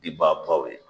Bi baw ye